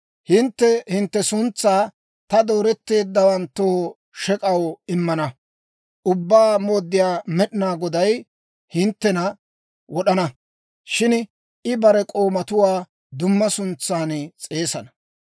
Hintte hintte suntsaa ta dooretteeddawanttoo shek'aw immana. Ubbaa Mooddiyaa Med'inaa Goday hinttena wod'ana; shin I bare k'oomatuwaa dumma suntsan s'eesana.